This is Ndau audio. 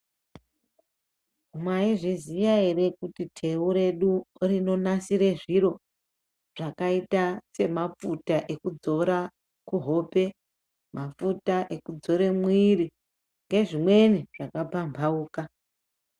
Mai zviziya ere kuti teu redu rino nasire zviro zvakaita se mafuta eku dzora kuhope mafuta eku dzore mwiri nge zvimweni zvaka pambauka.